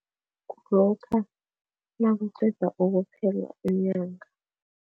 Nakuqeda ukuphela inyanga.